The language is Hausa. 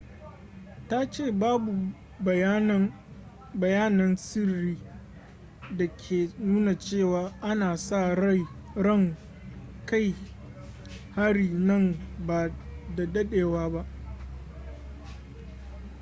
ta ce babu wani bayanan sirri da ke nuna cewa ana sa ran kai hari nan ba da dadewa ba